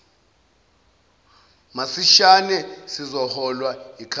masishane sizoholwa yikhanseli